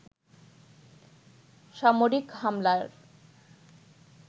সামরিক হামলার